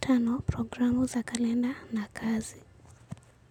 Tano, programu za kalenda na kazi.